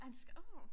Er en åh